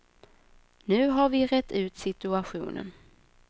Nu har vi rett ut situationen.